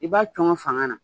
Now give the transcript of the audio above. I b'a cɔngɔ fanga na